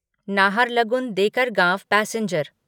Naharlagun Dekargaon passenger